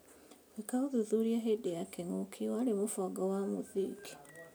Gwĩka ũthuthuria hĩndĩ ya kĩng'ũki warĩ mũbango wa mũthingi